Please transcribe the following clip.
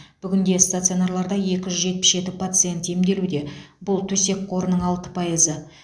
бүгінде стационарларда екі жүз жетпіс жеті пациент емделуде бұл төсек қорының алты пайызы